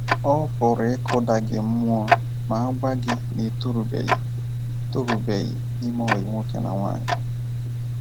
Ọ PỤRỤ ịkụda gị mmụọ ma a gwa gị na ị torubeghị torubeghị ime ọyị nwoke na nwaanyị.